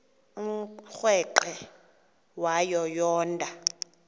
umrweqe wayo yoonda